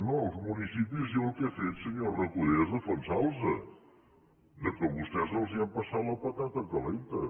no els municipis jo el que he fet senyor recoder és defensar los que vostès els han passat la patata calenta